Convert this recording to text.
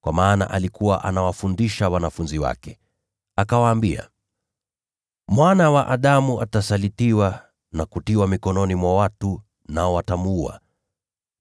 kwa maana alikuwa anawafundisha wanafunzi wake. Akawaambia, “Mwana wa Adamu atasalitiwa na kutiwa mikononi mwa watu. Nao watamuua,